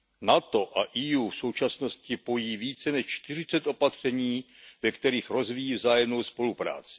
NATO a EU v současnosti pojí více než 40 opatření, ve kterých rozvíjí vzájemnou spolupráci.